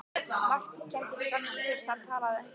Marteinn kenndi strax hver þar talaði.